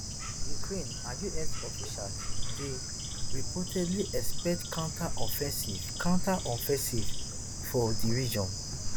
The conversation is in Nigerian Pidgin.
ukraine and us officials dey reportedly expect counter offensive counter offensive for di region